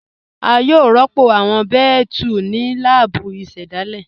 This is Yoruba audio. À yòó rọ́pọ̀ awọn bẹẹ̀tù ní lààbù ìṣẹ̀dáilé